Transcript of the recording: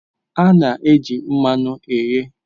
A na-eji mmanụ eghe